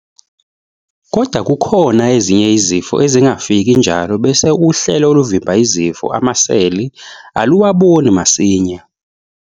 Kodwa kukhona ezinye izifo ezingafiki njalo bese uhlelo oluvimba izifo, amaseli, aluwaboni masinya.